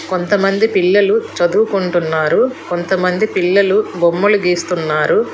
కొంతమంది పిల్లలు చదువుకుంటున్నారు కొంతమంది పిల్లలు బొమ్మలు గీస్తున్నారు.